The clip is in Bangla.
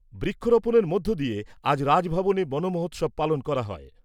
বৃক্ষরোপনের মধ্য দিয়ে আজ রাজভবনে বনমহোৎসব পালন করা হয় ।